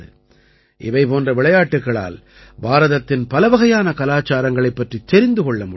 இவை போன்ற விளையாட்டுக்களால் பாரதத்தின் பலவகையான கலாச்சாரங்களைப் பற்றித் தெரிந்து கொள்ள முடிகிறது